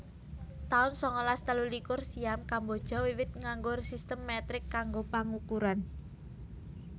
taun sangalas telulikur Siam Kamboja wiwit nganggo sistem metrik kanggo pangukuran